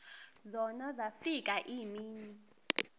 zona zafika iimini